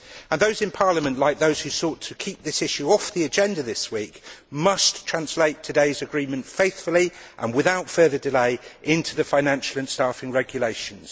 Those in Parliament like those who sought to keep this issue off the agenda this week must translate today's agreement faithfully and without further delay into the financial and staffing regulations.